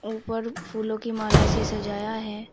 ऊपर फूलों की माला से सजाया है।